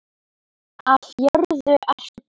Af jörðu ertu kominn.